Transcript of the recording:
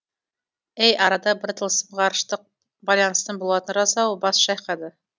әй арада бір тылсым ғарыштық байланыстың болатыны рас ау бас шайқайды